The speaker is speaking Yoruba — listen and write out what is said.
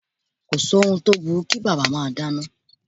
Kò sí ohun tó burú kí bàbá máa dáná.